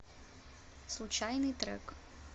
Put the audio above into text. случайный трек